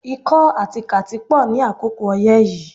Ikọ́ àti kàtí pò ní àkókò oyé yìí